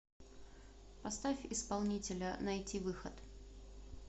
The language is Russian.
поставь исполнителя найтивыход